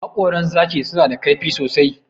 Haƙoran zaki suna da kaifi sosai.